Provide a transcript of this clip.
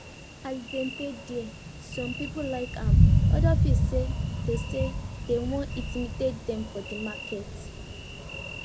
as dem dey dia some people like am others feel sya dey sya dey wan intimidate dem for de market